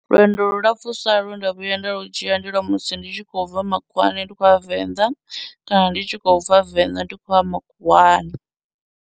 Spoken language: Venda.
Lwendo lu lapfhusa lwe nda vhuya nda lu dzhia ndi lwa musi ndi tshi khou bva makhuwani ndi khou ya venḓa, kana ndi tshi khou bva venḓa ndi khou ya makhuwani.